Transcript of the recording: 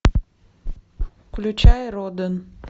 включай роден